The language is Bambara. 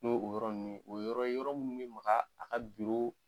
N'o o yɔrɔ ninnu ye o yɔrɔ ye yɔrɔ minnu bɛ maga a ka biro